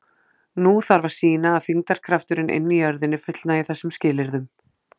Nú þarf að sýna að þyngdarkrafturinn inni í jörðinni fullnægi þessum skilyrðum.